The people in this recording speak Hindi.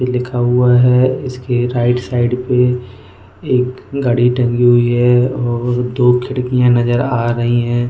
लिखा हुआ है इसके राइट साइड पे एक घड़ी टंगी हुई है और दो खिड़कियां नजर आ रही है।